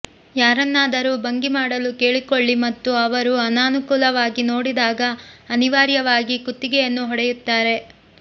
ಯಾರನ್ನಾದರೂ ಭಂಗಿ ಮಾಡಲು ಕೇಳಿಕೊಳ್ಳಿ ಮತ್ತು ಅವರು ಅನಾನುಕೂಲವಾಗಿ ನೋಡಿದಾಗ ಅನಿವಾರ್ಯವಾಗಿ ಕುತ್ತಿಗೆಯನ್ನು ಹೊಡೆಯುತ್ತಾರೆ